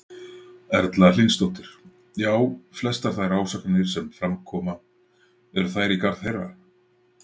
Erla Hlynsdóttir: Já, flestar þær ásakanir sem fram koma, eru þær í garð þeirra?